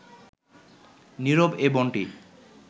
নীরব এ বনটি